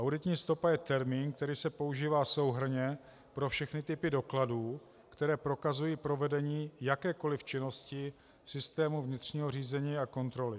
Auditní stopa je termín, který se používá souhrnně pro všechny typy dokladů, které prokazují provedení jakékoliv činnosti v systému vnitřního řízení a kontroly.